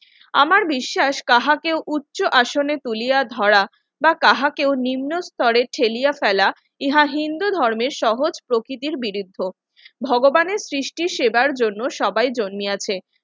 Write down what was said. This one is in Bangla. আমার বিশ্বাস কাহাকে উচ্চ আসনে তুলিয়া ধরা বা কাহাকেও নিম্নস্তরে ফেলিয়া ফেলা ইহা হিন্দু ধর্মের সহজ প্রকৃতির বিরুদ্ধে ভগবানের সৃষ্টির সেবার জন্য সবাই জন্য আছে